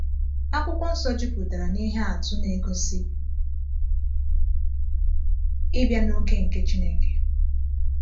Akwụkwọ Nsọ jupụtara na ihe atụ na-egosi ịbịa n’oge nke Chineke.